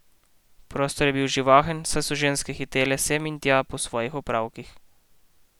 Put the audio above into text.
Prostor je bil živahen, saj so ženske hitele sem in tja po svojih opravkih.